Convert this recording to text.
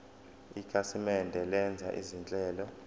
ikhasimende lenza izinhlelo